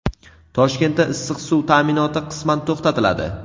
Toshkentda issiq suv taʼminoti qisman to‘xtatiladi.